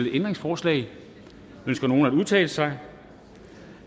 ændringsforslag ønsker nogen at udtale sig